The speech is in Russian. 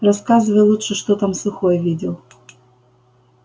рассказывай лучше что там сухой видел